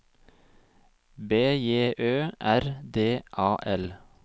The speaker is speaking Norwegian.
B J Ø R D A L